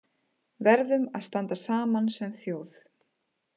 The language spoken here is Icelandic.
Verðum að standa saman sem þjóð